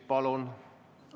Palun!